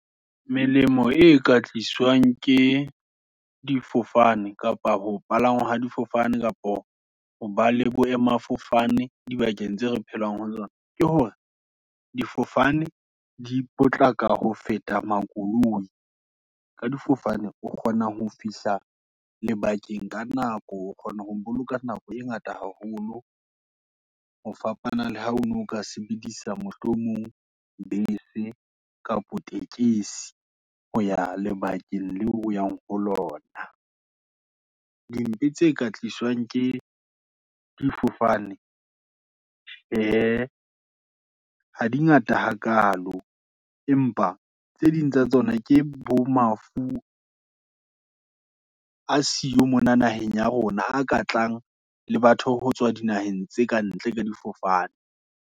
Melemo e ka tliswang, ke difofane, kapa ho palangwa ha difofane, kapo hoba le boemafofane, di bakeng tse re phelang ho tsona, ke hore di fofane di potlaka, ho feta makoloi. Ka difofane, o kgona ho fihla lebakeng ka nako, o kgona ho boloka nako e ngata haholo, ho fapana le ha ono ka sebedisa mohlomong, bese kapo tekesi, hoya lebakeng leo oyang ho lona. Dintho tse ka tliswang ke difofane, tjhee ha di ngata ha kalo, empa tse ding tsa tsona, ke bo mafu a siyo mona naheng ya rona, a ka tlang le batho, ho tswa dinaheng tse ka ntle, ka difofane.